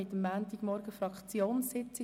22. 01. 2018, mit den Fraktionssitzungen,